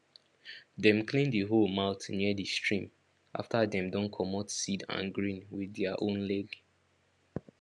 dem clean the hoe mouth near the stream after dem don comot seed and grain with their own leg